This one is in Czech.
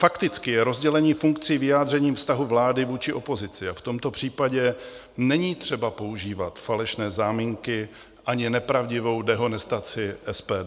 Fakticky je rozdělení funkcí vyjádřením vztahu vlády vůči opozici a v tomto případě není třeba používat falešné záminky ani nepravdivou dehonestaci SPD.